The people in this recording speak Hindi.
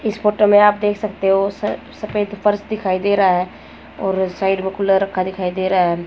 इस फोटो में आप देख सकते हो। सफेद पर्स दिखाई दे रहा और साइड में कूलर रखा दिखाई दे रहा है।